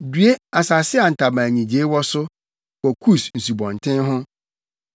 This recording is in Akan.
Due asase a ntaban nnyigyei wɔ so wɔ Kus nsubɔnten ho,